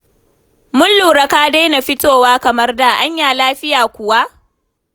Mun lura ka daina fitowa kamar da. Anya lafiya kuwa?